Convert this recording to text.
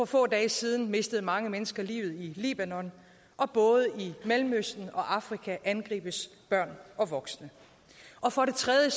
få dage siden mistede mange mennesker livet i libanon og både i mellemøsten og afrika angribes børn og voksne og for det tredje